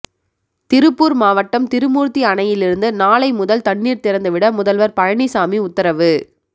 திருப்பூர் மாவட்டம் திருமூர்த்தி அணையிலிருந்து நாளை முதல் தண்ணீர் திறந்துவிட முதல்வர் பழனிசாமி உத்தரவு